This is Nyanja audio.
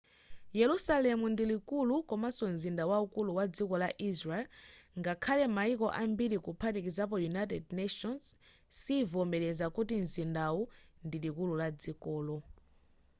yerusalemu ndi likulu komaso mzinda waukulu wa dziko la israel ngakhale mayiko ambiri kuphatikizapo united nations sivomereza kuti mzindawu ndi likulu la dzikolo